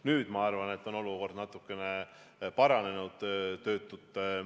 Nüüd, ma arvan, on olukord natukene paranenud.